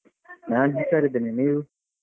ನಾನ್ ಹುಷಾರಿದ್ದೇನೆ, ನೀವು?